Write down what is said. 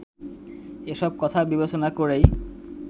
এসব কথা বিবেচনা করেই